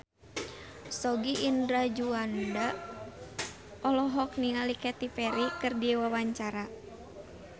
Sogi Indra Duaja olohok ningali Katy Perry keur diwawancara